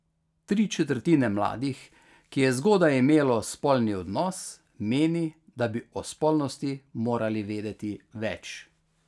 Tri četrtine mladih, ki je zgodaj imelo spolni odnos, meni, da bi o spolnosti morali vedeti več.